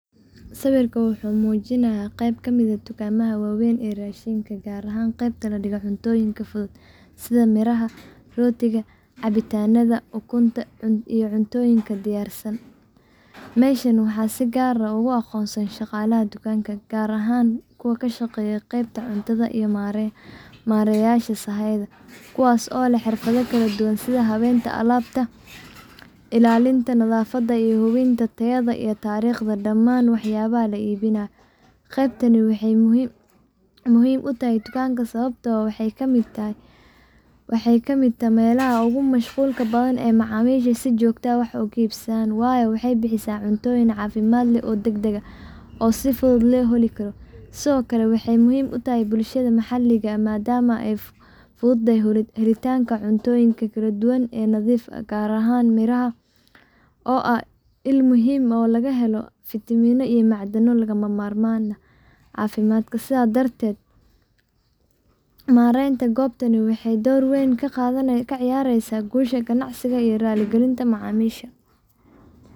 Sawirka wuxuu muujinayaa qayb ka mid ah dukaamada waaweyn ee raashinka, gaar ahaan qaybta la dhigo cuntooyinka fudud sida miraha, rootiga, cabitaannada, ukunta, cuntooyinka diyaarka ah iyo caanaha carruurta. Meeshan waxaa si gaar ah ugu aqoonsan shaqaalaha dukaanka, gaar ahaan kuwa ka shaqeeya qeybta cuntada iyo maareeyayaasha sahayda, kuwaas oo leh xirfado kala duwan sida habeynta alaabta, ilaalinta nadaafadda, iyo hubinta tayada iyo taariikhda dhammaan waxyaabaha la iibinayo. Qaybtani waxay muhiim u tahay dukaanka sababtoo ah waxay ka mid tahay meelaha ugu mashquulka badan ee macaamiishu si joogto ah wax uga iibsadaan, waayo waxay bixisaa cuntooyin caafimaad leh, degdeg ah oo si fudud loo heli karo. Sidoo kale, waxay muhiim u tahay bulshada maxalliga ah maadaama ay fududeyso helitaanka cuntooyin kala duwan oo nadiif ah, gaar ahaan miraha oo ah il muhiim ah oo laga helo fitamiinno iyo macdano lagama maarmaan u ah caafimaadka. Marka laga hadlayo habeynta iyo kala-soocidda alaabtan, waxaa laga dheehan karaa sida ay muhiimka u tahay in alaabta la dhigo si qurux badan oo soo jiidasho leh si ay macaamiisha ugu dhiirrigeliso inay wax iibsadaan. Shaqaalaha aqoonta u leh qeybtaas waa in ay si fiican u yaqaanaan sida loo habeeyo badeecooyinka, loo ilaaliyo nadaafadooda, iyo sida loogu adeego macaamiisha si xirfad leh. Sidaas darteed, aqoonta iyo maaraynta saxda ah ee goobtan waxay door weyn ka ciyaareysaah guusha ganacsiga iyo raalli gelinta macamisha.